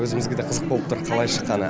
өзімізге де қызық болып тұр қалай шыққаны